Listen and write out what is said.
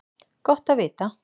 Gott að vita það